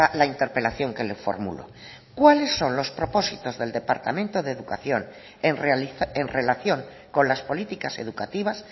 la interpelación que le formulo cuáles son los propósitos del departamento de educación en relación con las políticas educativas